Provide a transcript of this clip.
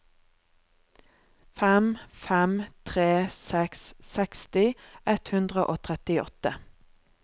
fem fem tre seks seksti ett hundre og trettiåtte